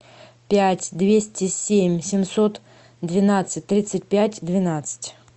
пять двести семь семьсот двенадцать тридцать пять двенадцать